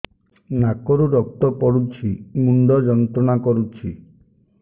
ନାକ ରୁ ରକ୍ତ ପଡ଼ୁଛି ମୁଣ୍ଡ ଯନ୍ତ୍ରଣା କରୁଛି